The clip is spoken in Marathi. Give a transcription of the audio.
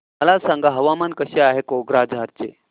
मला सांगा हवामान कसे आहे कोक्राझार चे